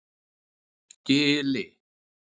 Gili